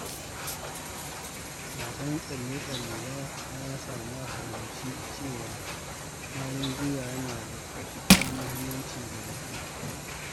Wasan tsalle-tsalle ya sa na fahimci cewa ƙwarin gwiwa yana da matuƙar muhimmanci ga mutum.